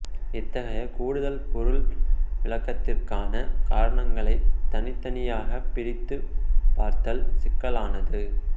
இத்தகைய கூடுதல் பொருள் விளக்கத்துக்கான காரணங்களைத் தனித்தனியாகப் பிரித்துப் பார்த்தல் சிக்கலானது